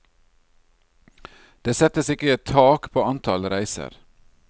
Det settes ikke tak på antall reiser.